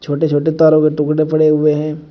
छोटे छोटे तारों के टुकड़े पड़े हुए हैं।